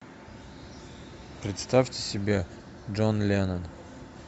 представьте себе джон леннон